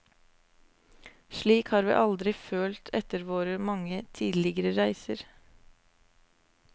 Slik har vi aldri har følt etter våre mange tidligere reiser.